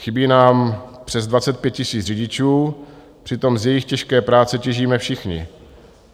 Chybí nám přes 25 000 řidičů, přitom z jejich těžké práce těžíme všichni.